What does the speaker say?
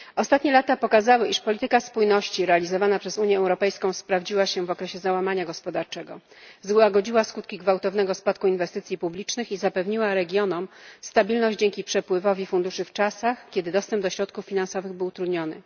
Ostatnie lata pokazały, iż polityka spójności realizowana przez Unię Europejską sprawdziła się w okresie załamania gospodarczego. Złagodziła skutki gwałtownego spadku inwestycji publicznych i zapewniła regionom stabilność dzięki napływowi funduszy w czasach, kiedy dostęp do środków finansowych był utrudniony.